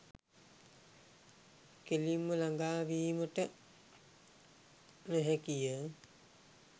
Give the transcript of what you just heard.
කෙලින්ම ළඟා වීමට නොහැකි ය.